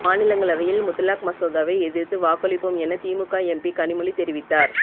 மாநிலங்களவையில் முத்தலாக் மசோதாவை எதிர்த்து வாக்களிப்போம் என திமுக எம்பி கனிமொழி தெரிவித்தார்